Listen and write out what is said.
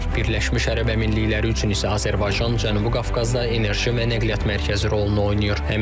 Birləşmiş Ərəb Əmirlikləri üçün isə Azərbaycan Cənubi Qafqazda enerji və nəqliyyat mərkəzi rolunu oynayır.